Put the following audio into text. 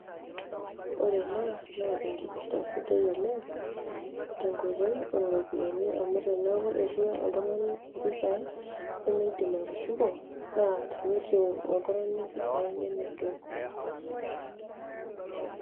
Ore ena naa enkirta sidai oleng tenkoitoi oropiyiani amu teneaku iriwaq oltungani mpisai na indim atushuko na teneiriu mpisai.